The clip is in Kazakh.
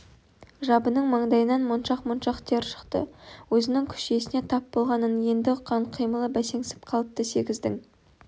жабының маңдайынан моншақ-моншақ тер шықты өзінің күш иесіне тап болғанын енді ұққан қимылы бәсеңсіп қалыпты сегіздің